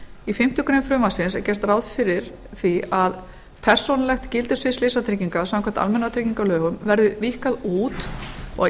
í fimmtu grein frumvarpsins er gert ráð fyrir því að persónulegt gildissvið slysatrygginga samkvæmt almannatryggingalögum verði víkkað út og